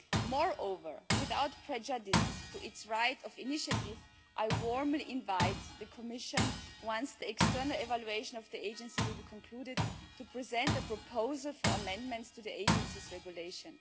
Moreover, without prejudice to its right of initiative, I warmly invite the Commission, once the external evaluation of the Agency has been concluded, to present the proposal for amendments to the Agency's regulation.